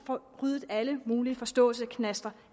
få ryddet alle mulige forståelsesknaster